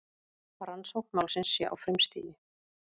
Rannsókn málsins sé á frumstigi